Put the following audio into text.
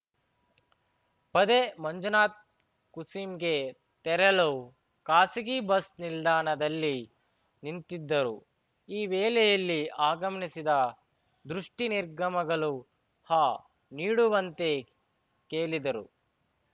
ಪದೆ ಮಂಜುನಾಥ್ ಕುಂಸಿಗೆ ತೆರಳು ಖಾಸಗಿ ಬಸ್‌ ನಿಲ್ದಾಣದಲ್ಲಿ ನಿಂತಿದ್ದರು ಈ ವೇಳೆಯಲ್ಲಿ ಆಗಮಿನಿಸಿದ ದುರ್ಷ್ಟಿ ನಿರ್ಗಮಗಳು ಹ ನೀಡುವಂತೆ ಕೇಳಿದರು